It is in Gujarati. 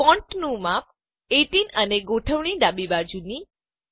ફોન્ટનું માપ ૧૮ અને ગોઠવણી એલાઇનમેંટ ડાબી બાજુની